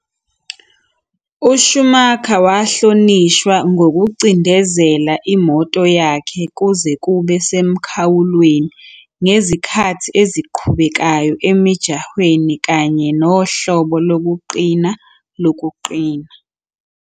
USchumacher wahlonishwa ngokucindezela imoto yakhe kuze kube semkhawulweni ngezikhathi eziqhubekayo emijahweni kanye nohlobo lokuqina lokuqina.